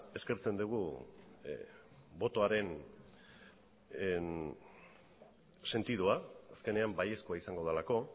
eskertzen dugu botoaren sentidua azkenean baiezkoa izango delako